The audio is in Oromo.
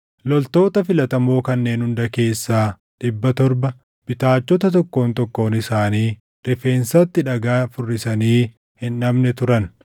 Loltoota filatamoo kanneen hunda keessaa dhibba torba bitaachota tokkoon tokkoon isaanii rifeensatti dhagaa furrisanii hin dhabne turan.